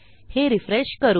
हे रिफ्रेश करू